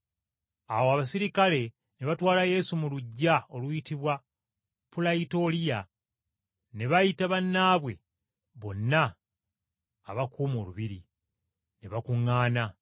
Awo Abaserikale ne batwala Yesu mu luggya lw’olubiri, oluyitibwa Pulayitoliyo, ne bayita bannaabwe bonna abakuuma olubiri, ne bakuŋŋaana.